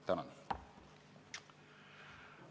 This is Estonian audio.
Tänan!